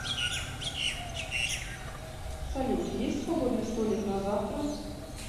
салют есть свободный столик на завтра